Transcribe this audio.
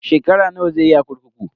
Shekara nawa zai yi a kurkuku?